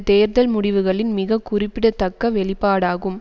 தேர்தல் முடிவுகளின் மிக குறிப்பிடத்தக்க வெளிப்பாடாகும்